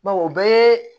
o bɛɛ ye